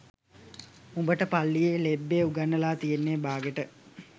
උඹට පල්ලියේ ලෙබ්බේ උගන්නලා තියෙන්නේ බාගෙට